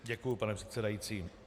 Děkuji, pane předsedající.